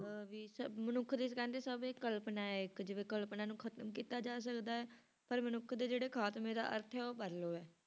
ਅਹ ਵੀ ਸਭ ਮਨੁੱਖ ਦੀ ਕਹਿੰਦੇ ਸਭ ਇਹ ਕਲਪਨਾ ਹੈ ਇੱਕ ਜਿਵੇਂ ਕਲਪਨਾ ਨੂੰ ਖ਼ਤਮ ਕੀਤਾ ਜਾ ਸਕਦਾ ਹੈ, ਪਰ ਮਨੁੱਖ ਦੇ ਜਿਹੜੇ ਖ਼ਾਤਮੇ ਦਾ ਅਰਥ ਹੈ ਉਹ ਪਰਲੋ ਹੈ।